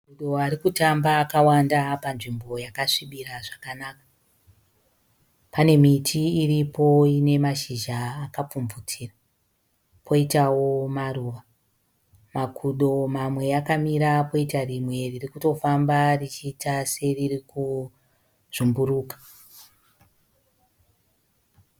Makudo arikutamba akawanda panzvimbo yakasvibira zvakanaka. Pane miti iripo ine mashizha akapfumvutira koitawo maruva. Makudo mamwe akamira poita rimwe ririkutofamba richiita seriri kuzvumburuka.